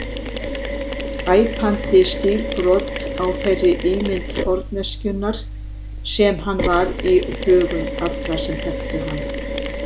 Æpandi stílbrot á þeirri ímynd forneskjunnar sem hann var í hugum allra sem þekktu hann.